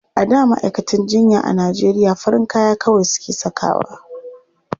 A da ma'aikatan jinya a Najeriya farin kaya kawai suke sakawa.